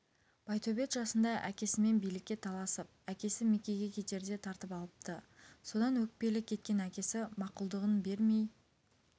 байтөбет жасында әкесімен билікке таласып әкесі мекеге кетерде тартып алыпты содан өкпелі кеткен әкесі мақұлдығын бермей